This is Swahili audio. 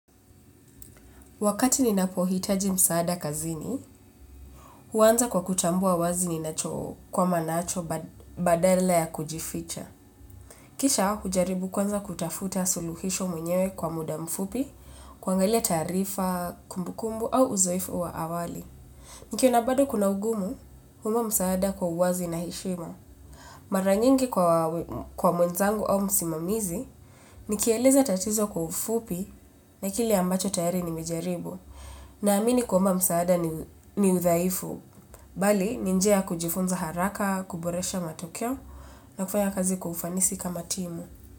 Wakati ninapohitaji msaada kazini, huanza kwa kutambua wazi ninacho kwa manacho badala ya kujificha. Kisha hujaribu kwanza kutafuta suluhisho mwenyewe kwa muda mfupi, kuangalia taarifa, kumbukumbu au uzoefu wa awali. Nikiona bado kuna ugumu, huomba msaada kwa uwazi na heshima. Maranyingi kwa mwenzangu au musimamizi, nikieleza tatizo kwa ufupi na kile ambacho tayari ni mejaribu. Na amini kuomba msaada ni udhaifu, bali ninjia ya kujifunza haraka, kuboresha matokeo na kufanya kazi kwa ufanisi kama timu.